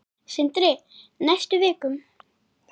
Sindri: Næstu vikum?